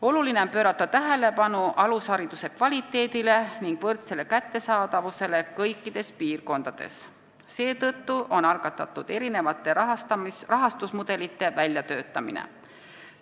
Oluline on pöörata tähelepanu alushariduse kvaliteedile ning võrdsele kättesaadavusele kõikides piirkondades, seetõttu on algatatud erinevate rahastusmudelite väljatöötamine.